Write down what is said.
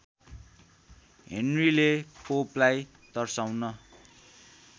हेनरीले पोपलाई तर्साउन